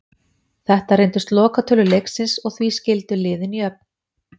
Þetta reyndust lokatölur leiksins og því skildu liðin jöfn.